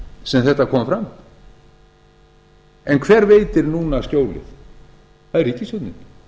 sem þetta kom fram hver veitir núna skjólið það er ríkisstjórnin